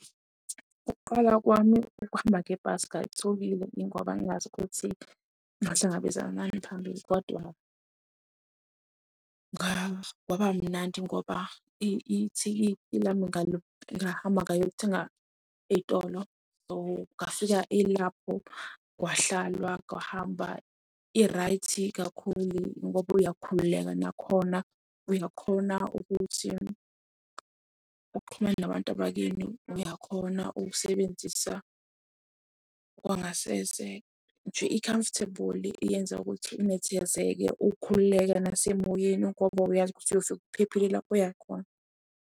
Ukuqala kwami ukuhamba ngebhasi ngangithukile ngoba ngingazi ukuthi ngohlangabezana nani phambili kodwa kwaba mnandi ngoba ithikithi lami ngahamba ngayothenga ezitolo so ngafika ilapho kwahlalwa kwahamba i-right kakhulu, ngoba uyakhululeka nakhona uyakhona ukuthi uxhumane nabantu abakini. Uyakhona ukusebenzisa kwangasese nje i-comfortable iyenza ukuthi unethezeke, ukhululeke nasemoyeni ngoba uyazi ukuthi uyofika uphephile lapho oyakhona.